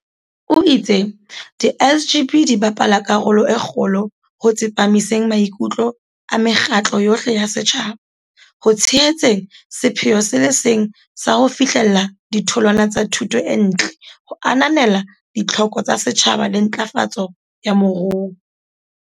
O itse di SGB di bapala karolo e kgolo ho tsepamiseng maikutlo a mekgatlo yohle ya setjhaba ho tshehetseng sepheo se le seng sa ho fihlella ditholwana tsa thuto e ntle ho ananela ditlhoko tsa setjhaba le ntlafatso ya moruo.